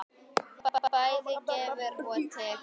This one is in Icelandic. Hún bæði gefur og tekur.